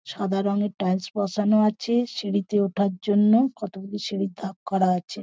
সাদা রঙের টাইলস বসানো আছে সিঁড়িতে উঠার জন্য কত গুলি সিঁড়ির ধাপ করা আছে।